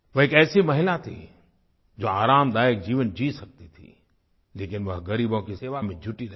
वह एक ऐसी महिला थीं जो आरामदायक जीवन जी सकती थीं लेकिन वह गरीबों की सेवा में जुटी रहीं